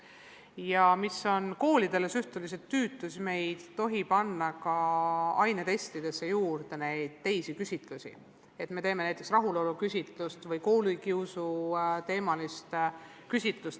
Ja mis on koolidele suhteliselt tüütu – me ei tohi panna ainetestidesse juurde neid teisi küsitlusi, näiteks rahuloluküsitlust või koolikiusuteemalist küsitlust.